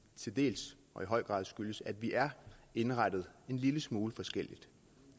i høj grad skyldes at vi er indrettet en lille smule forskelligt